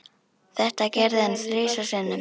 Þetta gerði hann þrisvar sinnum.